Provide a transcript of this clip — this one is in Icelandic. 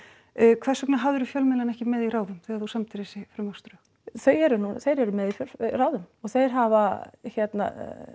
hvers vegna hafðirðu fjölmiðlana ekki með í ráðum þegar þú samdir þessi frumvarpsdrög þau eru nú þeir eru með í ráðum og þeir hafa hérna